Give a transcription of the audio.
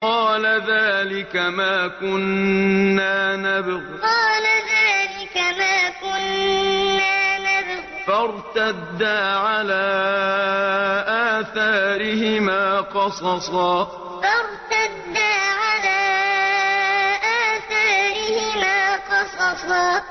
قَالَ ذَٰلِكَ مَا كُنَّا نَبْغِ ۚ فَارْتَدَّا عَلَىٰ آثَارِهِمَا قَصَصًا قَالَ ذَٰلِكَ مَا كُنَّا نَبْغِ ۚ فَارْتَدَّا عَلَىٰ آثَارِهِمَا قَصَصًا